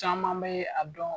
Caman bɛ a dɔn